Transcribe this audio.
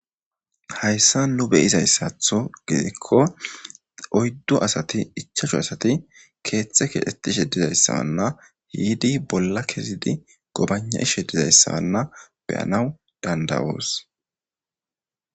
Haysan nu be'izasato gidiko oydu asati ichashu asati keethi keexetishe dizana yidi bolla kezidi gobagna'she dizaysana be'anawu danda'os.